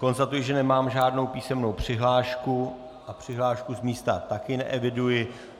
Konstatuji, že nemám žádnou písemnou přihlášku a přihlášku z místa taky neeviduji.